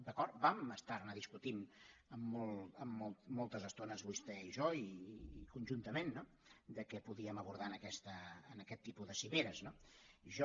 d’acord vam estar ne discutint moltes estones vostès i jo i conjuntament no de què podríem abordar en aquest tipus de cimeres no jo